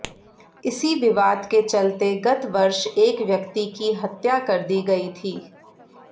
इसी विवाद के चलते गत वर्ष एक व्यक्ति की हत्या कर दी गई थी